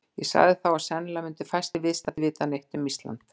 Ég sagði þá, að sennilega myndu fæstir viðstaddir vita neitt um Ísland.